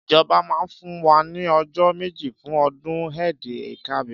Ìjọbá mà fún wà ni ọjọ mẹji fún ọdún Eid-el-kabir.